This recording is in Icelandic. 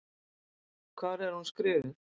Hvar er hún skrifuð?